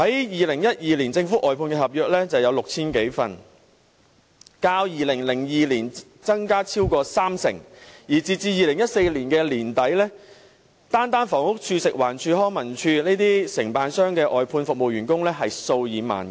2012年，政府外判合約共有 6,000 多份，較2002年增加超過三成，而截至2014年年底，單是房屋署、食物環境衞生署、康樂及文化事務署的外判服務員工便數以萬計。